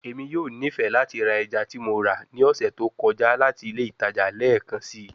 Emi yoo nifẹ lati ra ẹja ti Mo ra ni ọsẹ to kọja lati ile itaja lẹẹkansi